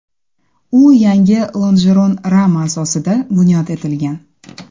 U yangi lonjeron rama asosida bunyod etilgan.